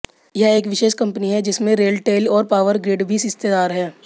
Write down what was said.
यह एक विशेष कंपनी है जिसमें रेलटेल और पावर ग्रिड भी हिस्सेदार हैं